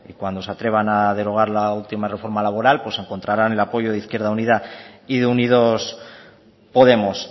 que cuando se atrevan a derogar la última reforma laboral pues encontrarán el apoyo de izquierda unida y de unidos podemos